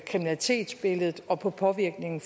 kriminalitetsbilledet og på påvirkningen